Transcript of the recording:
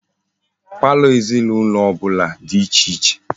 Palọ ezinaulo obula di iche iche